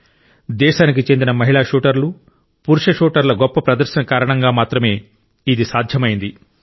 భారత దేశానికి చెందిన మహిళా షూటర్లు పురుష షూటర్ల గొప్ప ప్రదర్శన కారణంగా మాత్రమే ఇది సాధ్యమైంది